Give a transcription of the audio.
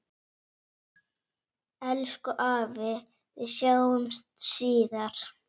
Elsku afi, við sjáumst síðar.